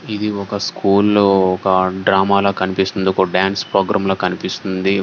ఇది ఒక్క స్కూల్ లో ఒక డ్రామా ల కనిపిస్తుంది ఒక డాన్స్ ప్రోగ్రాం ల కనిపిస్తుంది.